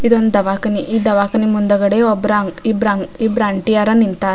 ಇದೊಂದು ದವಾಖಾನೆ ಈ ದವಾಖಾನೆ ಮುಂದಾಗಡೆ ಒಬ್ರ ಇಬ್ರು ಆಂಟಿಯರ್ ನಿಂತರ.